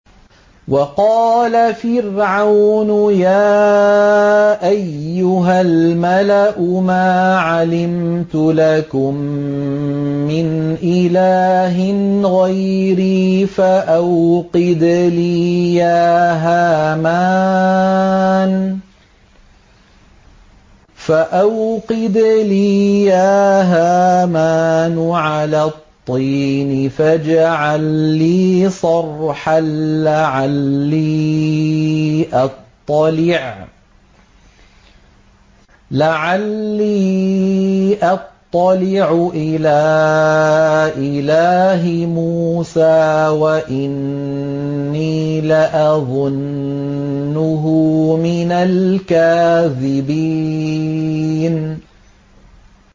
وَقَالَ فِرْعَوْنُ يَا أَيُّهَا الْمَلَأُ مَا عَلِمْتُ لَكُم مِّنْ إِلَٰهٍ غَيْرِي فَأَوْقِدْ لِي يَا هَامَانُ عَلَى الطِّينِ فَاجْعَل لِّي صَرْحًا لَّعَلِّي أَطَّلِعُ إِلَىٰ إِلَٰهِ مُوسَىٰ وَإِنِّي لَأَظُنُّهُ مِنَ الْكَاذِبِينَ